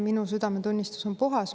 Minu südametunnistus on puhas.